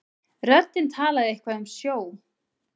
Röddin talaði eitthvað um sjó.